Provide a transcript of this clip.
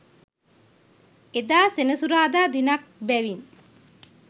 එදා සෙනසුරාදා දිනක් බැවින්